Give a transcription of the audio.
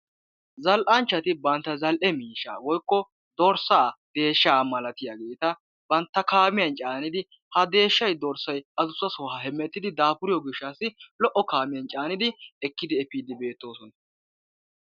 zal"anchchati bantta zal"e miishshaa woykko dorssaa deeshshaa malatiyaageta bantta kaamiyaan caaniddi ha deeshshay dorssay adussasa hemettidi daafuriyoo giishatassi lo'o kaamiyaan caanidi efiidi beettoosona.